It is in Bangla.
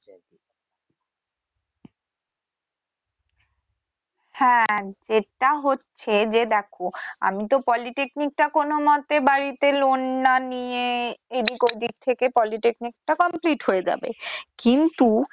হ্যা যেটা হচ্ছে যে দেখো আমি তো Polytechnic টা কোনমতে বাড়িতে loan না নিয়ে এদিক ওদিক থেকে Polytechnic টা complete হবে যাবে কিন্তু